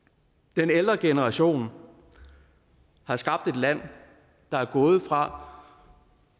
den ældre generation har skabt et land der er gået fra